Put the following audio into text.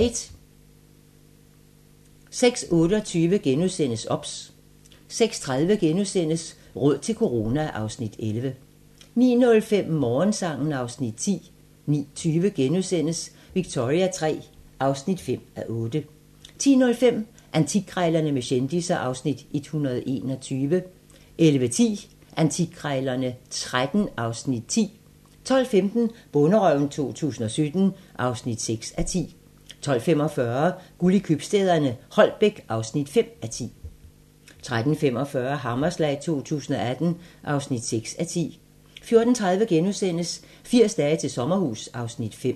06:28: OBS * 06:30: Råd til corona (Afs. 11)* 09:05: Morgensang (Afs. 10) 09:20: Victoria III (5:8)* 10:05: Antikkrejlerne med kendisser (Afs. 121) 11:10: Antikkrejlerne XIII (Afs. 10) 12:15: Bonderøven 2017 (6:10) 12:45: Guld i købstæderne - Holbæk (5:10) 13:45: Hammerslag 2018 (6:10) 14:30: 80 dage til sommerhus (Afs. 5)*